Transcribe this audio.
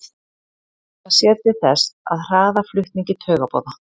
það sér til þess að hraða flutningi taugaboða